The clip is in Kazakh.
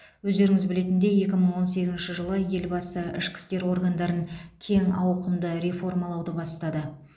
өздеріңіз білетіндей екі мың он сегізінші жылы елбасы ішкі істер органдарын кең ауқымды реформалауды бастады